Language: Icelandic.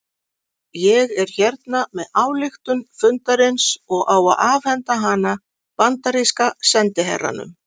Ég er hérna með ályktun fundarins og á að afhenda hana bandaríska sendiherranum